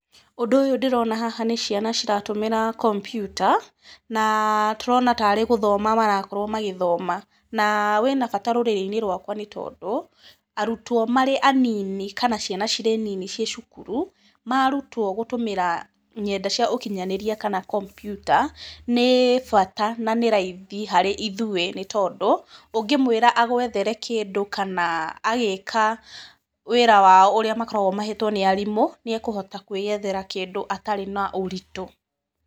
Ũndũ ũyũ ndĩrona haha nĩ ciana ciratũmĩra kompyuta, na tũrona tarĩ gũthoma marakorwo magĩthoma, na wĩna bata rũrĩrĩ-inĩ rwakwa nĩ tondũ, arutwo marĩ anini kana ciana cirĩ nini ciĩ cukuru, maarutwo gũtũmĩra nyenda cia ũkinyanĩria kana kompyuta ni bata na nĩ raithi harĩ ithuĩ nĩ tondũ, ũngĩmwĩra agũethere kĩndũ kana agĩĩka wĩra wao ũrĩa makoragwo mahetwo nĩ arimũ, nĩ ekũhota kũĩyethere kĩndũ atarĩ na ũritũ.